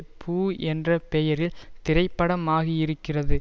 பூ என்ற பெயரில் திரைப்படமாகியிருக்கிறது